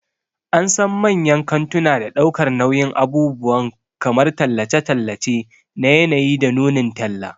An san manyan kantuna don ɗaukar nauyin abubuwan kamar tallace-tallace na yanayi da nunin talla.